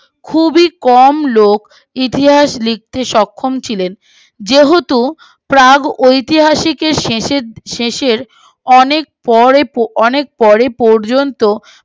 খুবই কম লোক ইতিহাস লিখতে সক্ষম ছিলেন যেহেতু প্রাগ ঐতিহাসিক শেষের শেষের অনেক পর অনেক পর্যন্ত